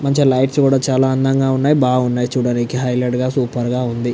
మంచి లైట్స్ కూడా చాలా అందగా ఉన్నయ్. బాగా ఉన్నయ్ చూడడానికీ. హైలైట్ గా సూపర్ గా ఉంది.